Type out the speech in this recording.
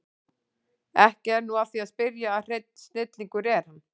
Ekki er nú að því að spyrja að hreinn snillingur er hann